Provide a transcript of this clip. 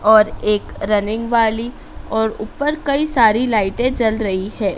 और एक रनिंग वाली और ऊपर कई सारी लाइटें जल रही है।